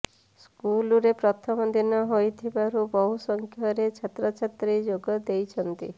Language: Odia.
ସ୍କୁଲରେ ପ୍ରଥମ ଦିନ ହୋଇଥିବାରୁ ବହୁ ସଂଖ୍ୟାରେ ଛାତ୍ରଛାତ୍ରୀ ଯୋଗ ଦେଇଛନ୍ତି